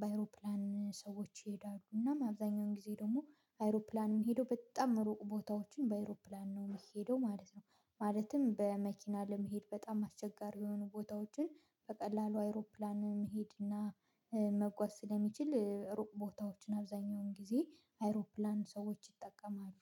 በአይሮፕላን ሰዎች ይሄዳሉ፤ እናም አብዛኛውን ጊዜ ደግሞ አይሮፕላን የሚሄደው በጣም ሩቅ ቦታዎችን በአይሮፕላን ነው የሚሄደው ማለት ነው፤ ማለትም በመኪና ለመሄድ በጣም አስቸጋሪ የሆኑ ቦታዎችን በቀላሉ አይሮፕላን መሄድና መጓዝ ስለሚችል ሩቅ ቦታዎችን አብዛኛውን ጊዜ አይሮፕላን ሰዎች ይጠቀማሉ።